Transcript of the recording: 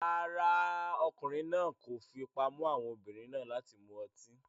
Rárá, ọkùnrin náà kò fipá mú àwọn obìnrin náà láti mu ọtí